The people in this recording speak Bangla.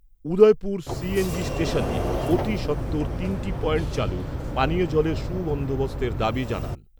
উদয়পুর সিএনজি স্টেশনে অতিসত্বর তিনটি পয়েন্ট চালু, পানীয় জলের সুবন্দোবস্তের দাবি জানান তারা।